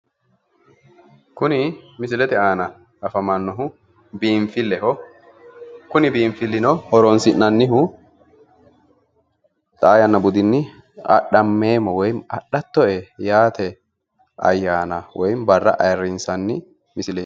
kuni misilete aana afamannohu biinfilleho kuni biinfillino horonsi'nannihu xaa yanna budinni adhattoe woy adhammeemmo yaate ayyaana woyi barra ayiirrinsanni misileeti.